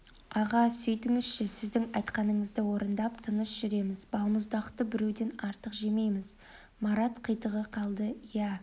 аға сөйтіңізші сіздің айтқаныңызды орындап тыныш жүреміз балмұздақты біреуден артық жемейміз марат қитыға қалды иә